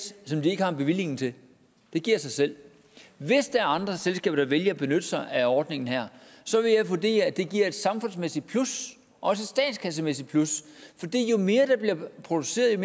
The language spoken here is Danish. som de ikke har en bevilling til det giver sig selv hvis der er andre selskaber der vælger at benytte sig af ordningen her så vil jeg vurdere at det giver et samfundsmæssigt plus også et statskassemæssigt plus fordi jo mere der bliver produceret jo